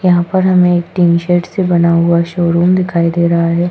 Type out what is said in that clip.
यहां पर हमें एक टीन शेड से बना हुआ शोरूम दिखाई दे रहा है।